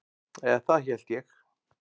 Eða það hélt ég.